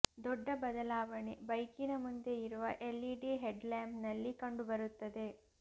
ದೊಡ್ದ ಬದಲಾವಣೆ ಬೈಕಿನ ಮುಂದೆ ಇರುವ ಎಲ್ಇಡಿ ಹೆಡ್ಲ್ಯಾಂಪ್ ನಲ್ಲಿ ಕಂಡು ಬರುತ್ತದೆ